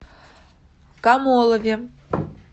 камолове